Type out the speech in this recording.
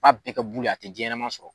B'a bɛɛ kɛ bulu ye a te denɲɛnɛman sɔrɔ